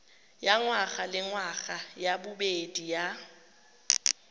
ya ngwagalengwaga ya bobedi ya